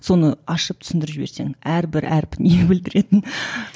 соны ашып түсіндіріп жіберсең әрбір әрпі не білдіретінін